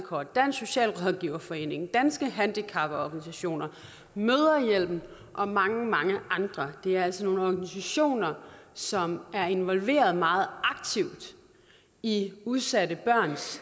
og dansk socialrådgiverforening danske handicaporganisationer mødrehjælpen og mange mange andre det er altså nogle organisationer som er involveret meget aktivt i udsatte børns